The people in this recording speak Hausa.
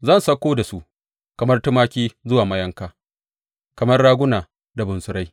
Zan sauko da su kamar tumaki zuwa mayanka, kamar raguna da bunsurai.